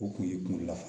O kun ye kunna